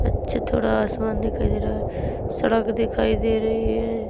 अच्छे थोड़ा आसमान दिखाई दे रहा है सड़क दिखाई दे रही हैं।